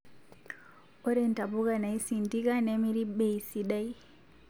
ore ntapuka naisindika nemiri bei sidai